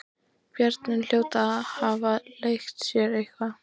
Börnin hljóta að hafa leikið sér eitthvað.